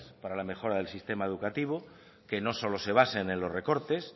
para la mejora del sistema educativo que no solo se basen en los recortes